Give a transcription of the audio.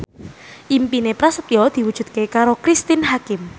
impine Prasetyo diwujudke karo Cristine Hakim